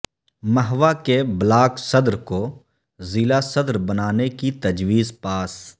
مہوا کے بلاک صدر کو ضلع صدر بنانے کی تجویز پاس